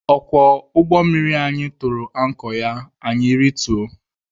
Ọkwọ ụgbọ mmiri anyị tụrụ ankọ ya anyị rituo.